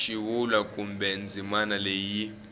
xivulwa kumbe ndzimana leyi yi